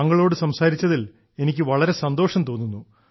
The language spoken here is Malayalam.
താങ്കളോട് സംസാരിച്ചതിൽ എനിക്ക് വളരെ സന്തോഷം തോന്നുന്നു